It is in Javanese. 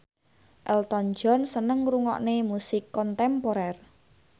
Elton John seneng ngrungokne musik kontemporer